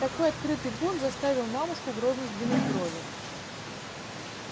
такой открытый бунт заставил мамушку грозно сдвинуть брови